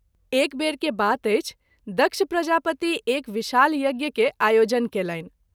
एक बेर के बात अछि दक्षप्रजापति एक विशाल यज्ञ केर आयोजन कएलनि।